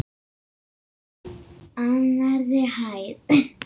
Annarri hæð.